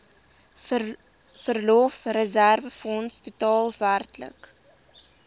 verlofreserwefonds totaal werklik